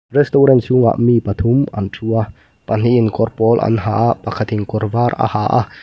restaurant chhungah mi pathum an thu a pahnih in kawrpawl an ha a pakhatin kawrvar aha a.